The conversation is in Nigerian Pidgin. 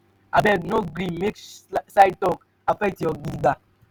abeg o no gree make side talk affect you stand gidigba.